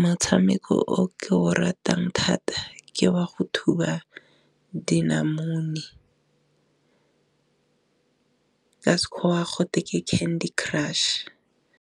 motshameko o ke o ratang thata ke wa go thuba dinamune ka sekgowa go Candy Crush.